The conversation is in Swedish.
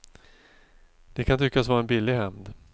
Det kan tyckas vara en billig hämnd.